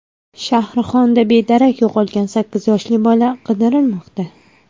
Shahrixonda bedarak yo‘qolgan sakkiz yoshli bola qidirilmoqda.